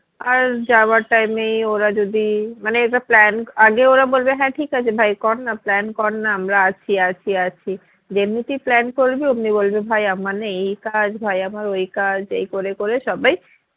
আর যাওয়ার time ই ওরা যদি মানে এটা plan আগে ওরা বলবে হ্যাঁ ঠিক আছে ভাই কর না plan কর না আমরা আছি আছি আছি যেমনি তুই plan করবি ওমনি বলবে ভাই আমার না এই কাজ ভাই আমার ওই কাজ এই করে করে সবাই